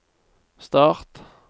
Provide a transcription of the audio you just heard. start